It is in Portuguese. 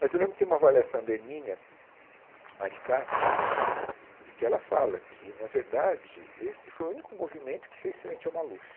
Mas eu lembro que tem uma avaliação da Erminia Maricato e que ela fala que, na verdade, esse foi o único movimento que fez frente ao Maluf.